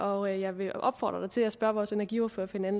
og jeg vil opfordre spørgeren til at spørge vores energiordfører ved en